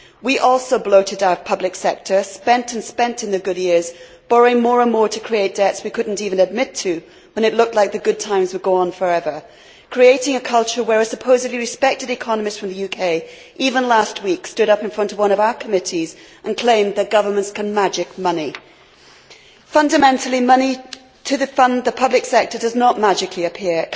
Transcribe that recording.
We also bloated our public sector, spent and spent in the good years, borrowing more and more to create debts we could not even admit to when it looked as though the good times were gone forever, and creating a culture where a supposedly respected economist from the UK even last week stood up in front of one of our committees and claimed that governments can magic money. Fundamentally, money to fund the public sector does not magically appear.